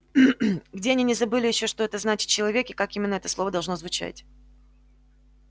где они не забыли ещё что это значит человек и как именно это слово должно звучать